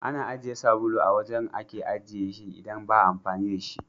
Ana ajiye sabulu a wajen a ake ajiye shi idan ba'a amfani da shi.